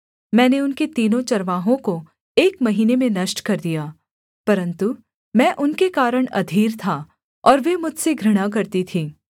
मैंने उनके तीनों चरवाहों को एक महीने में नष्ट कर दिया परन्तु मैं उनके कारण अधीर था और वे मुझसे घृणा करती थीं